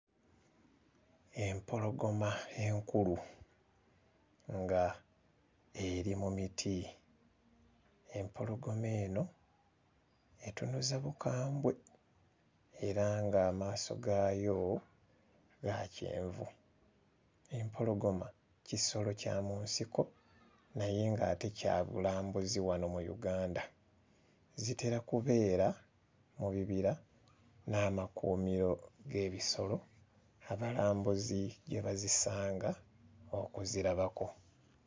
Empologoma enkulu nga eri mu miti. Empologoma eno etunuza bukambwe era ng'amaaso gaayo ga kyenvu. Empologoma kisolo kya mu nsiko naye ng'ate kya bulambuzi wano mu Uganda zitera kubeera mu bibira n'amakuumiro g'ebisolo abalambuzi gye bazisanga okuzirabako.